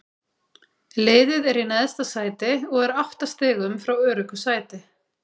Liðið er í neðsta sæti og er átta stigum frá öruggu sæti.